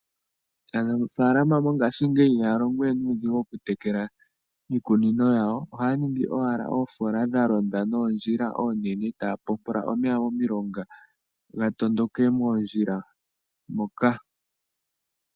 Aanafaalama mongashingeyi ihaya longowe nuudhigu okutekela iikunino yawo. Ohaya ningi wala oofoola dha londa noondjila oonene, taya popola omeya momilonga ga tondoke moondjila moka.